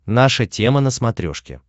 наша тема на смотрешке